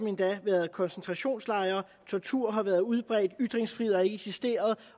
endda været koncentrationslejre tortur har været udbredt ytringsfrihed har ikke eksisteret